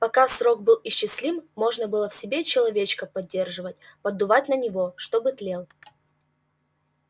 пока срок был исчислим можно было в себе человечка поддерживать поддувать на него чтобы тлел